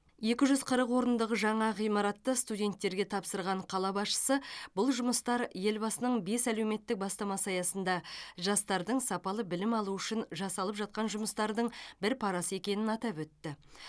екі жүз қырық орындық жаңа ғимаратты студенттерге тапсырған қала басшысы бұл жұмыстар елбасының бес әлеуметтік бастамасы аясында жастардың сапалы білім алуы үшін жасалып жатқан жұмыстардың бір парасы екенін атап өтті